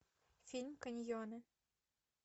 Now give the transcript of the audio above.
фильм каньоны